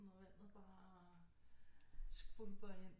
Og vandet bare skvulper ind